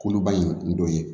Koloba in dɔ ye